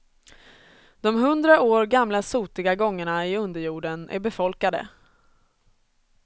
De hundra år gamla sotiga gångarna i underjorden är befolkade.